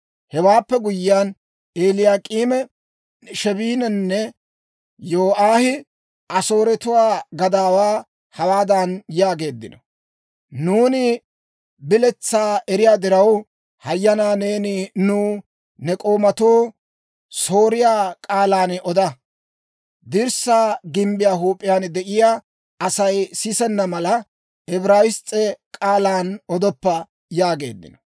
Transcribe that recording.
Hewaappe guyyiyaan Eliyaak'iime, Sheebininne Yo'aahi Asooretuwaa gadaawaa hawaadan yaageeddino; «Nuuni biletsaa eriyaa diraw, hayanaa neeni nuw ne k'oomatoo Sooriyaa k'aalan oda. Dirssaa gimbbiyaa huup'iyaan de'iyaa Asay sisenna mala, Ibrayiss's'e k'aalan odoppa» yaageeddino.